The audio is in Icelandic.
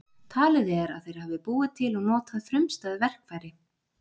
Talið er að þeir hafi búið til og notað frumstæð verkfæri.